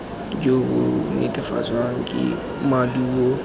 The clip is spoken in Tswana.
jo bo netefatswang ke maduo